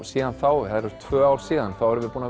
síðan þá eru tvö ár síðan þá erum við búin